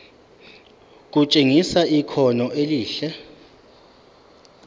kutshengisa ikhono elihle